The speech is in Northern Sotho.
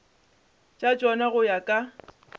tša tšona go ya ka